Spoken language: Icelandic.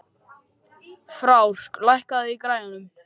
Frár, lækkaðu í græjunum.